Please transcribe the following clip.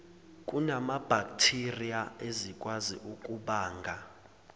kunamabhakthiriya ezikwazi ukubanga